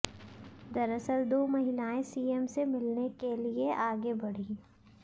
दरअसल दो महिलाए सीएम से मिलने के लिए आगे बढीं